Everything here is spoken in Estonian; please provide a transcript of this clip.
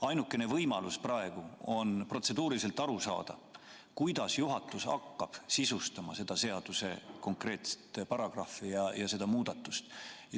Ainukene võimalus praegu on protseduurilisi küsimusi esitades aru saada, kuidas juhatus hakkab sisustama seda seaduse konkreetset paragrahvi ja seda muudatust.